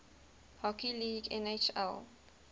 hockey league nhl